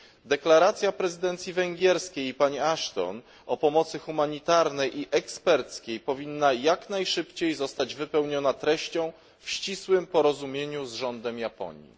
Deklaracja prezydencji węgierskiej i pani Ashton o pomocy humanitarnej i eksperckiej powinna jak najszybciej zostać wypełniona treścią w ścisłym porozumieniu z rządem Japonii.